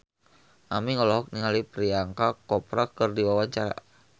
Aming olohok ningali Priyanka Chopra keur diwawancara